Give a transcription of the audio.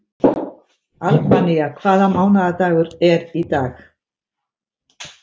Albína, hvaða mánaðardagur er í dag?